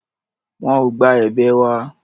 Wọn ò gba èbè wa.